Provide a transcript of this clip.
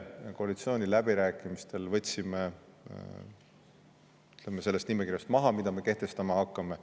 Koalitsiooni läbirääkimistel võtsime selle maha nimekirjast, mida me kehtestama hakkame.